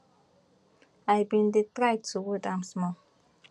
i bin dey try to wound am small